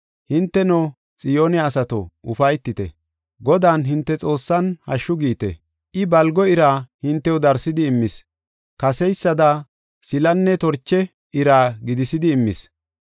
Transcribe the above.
Hinteno Xiyoone asato, ufaytite; Godan hinte Xoossan, hashshu giite! I, balgo ira hintew darsidi immis; kaseysada silanne torche ira gidisidi immis.